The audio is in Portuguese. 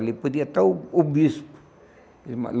Ali podia estar o o bispo.